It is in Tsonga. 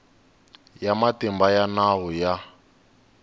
ya matimba ya nawu ya